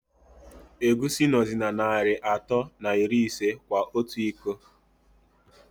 Egwusi nọzi na Nari atọ na iri ise kwa ọtụ ịkọ.